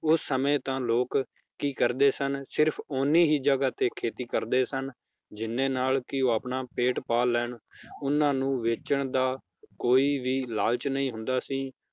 ਉਸ ਸਮੇ ਤਾਂ ਲੋਕ ਕੀ ਕਰਦੇ ਸਨ, ਸਿਰਫ ਓਹਨੀ ਹੀ ਜਗਾਹ ਤੇ ਖੇਤੀ ਕਰਦੇ ਸਨ ਜਿੰਨੇ ਨਾਲ ਕੀ ਉਹ ਆਪਣਾ ਪੇਟ ਪਾਲ ਲੈਣ ਉਹਨਾਂ ਨੂੰ ਵੇਚਣ ਦਾ ਕੋਈ ਵੀ ਲਾਲਚ ਨਹੀਂ ਹੁੰਦਾ ਸੀ